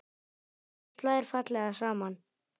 Þessu slær fallega saman.